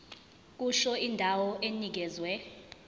kusho indawo enikezwe